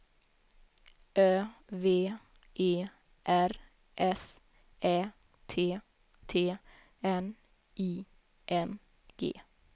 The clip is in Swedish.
Ö V E R S Ä T T N I N G